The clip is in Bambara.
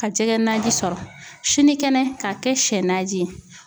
Ka jɛgɛ naji sɔrɔ ,sini kɛnɛ, k'a kɛ sɛnanji ye.